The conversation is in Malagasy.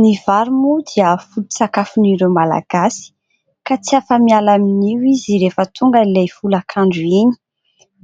Ny vary moa dia foto-tsakafon'ireo Malagasy, ka tsy afa-miala amin'io izy rehefa tonga ilay folakandro iny.